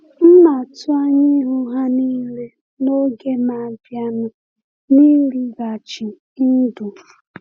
M na-atụ anya ịhụ ha niile n’oge na-abịanụ n’ịlịghachi ndụ.